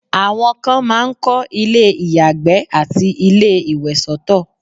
àwọn kan máà ń kọ́ ilé ìyàgbẹ́ àti ilé ìwẹ̀ soto